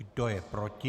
Kdo je proti?